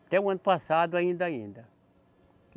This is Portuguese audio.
Até o ano passado ainda, ainda.